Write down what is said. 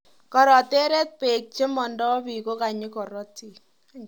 Koroteret peek chekomodo bii kokanyi korotik